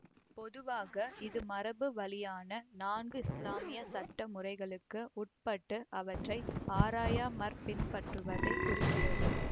பொதுவாக இது மரபு வழியான நான்கு இஸ்லாமிய சட்ட முறைகளுக்கு உட்பட்டு அவற்றை ஆராயாமற் பின்பற்றுவதைக் குறிக்கிறது